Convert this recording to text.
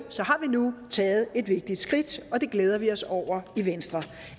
har vi nu taget et vigtigt skridt og det glæder vi os over i venstre